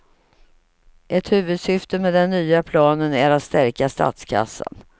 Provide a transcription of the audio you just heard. Ett huvudsyfte med den nya planen är att stärka statskassan.